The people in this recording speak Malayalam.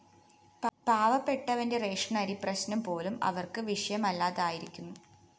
പാവപ്പെട്ടവന്റെ റേഷനരി പ്രശ്‌നം പോലും അവര്‍ക്ക് വിഷയമല്ലാതായിരിക്കുന്നു